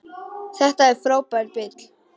Þetta er frábær bíll.